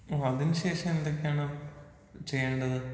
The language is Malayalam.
ഓ അതിന് ശേഷം എന്തൊക്കെയാണ് ചെയ്യണ്ടത്?